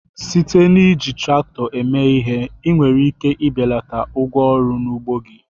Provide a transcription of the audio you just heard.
Site n'iji traktọ eme ihe, ị nwere ike ibelata ụgwọ ọrụ n'ugbo gị.